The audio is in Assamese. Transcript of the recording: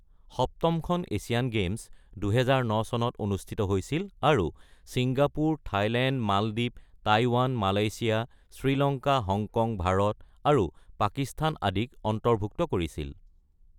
সপ্তমখন এছিয়ান গেম্ছ, ২০০৯ চনত অনুষ্ঠিত হৈছিল আৰু ছিংগাপুৰ, থাইলেণ্ড, মালদ্বীপ, Taiwan, Malaysia, Sri Lanka, Hong Kong, Bharat, আৰু পাকিস্তান আদিক অন্তৰ্ভূক্ত কৰিছিল।